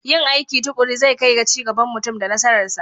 Yin aiki tuƙuru zai kai ga ci gaban mutum da nasararsa